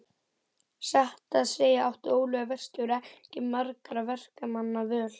Satt að segja átti Óli verkstjóri ekki margra verkamanna völ.